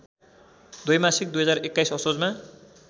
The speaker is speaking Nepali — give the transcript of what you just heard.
द्वैमासिक २०२१ असोजमा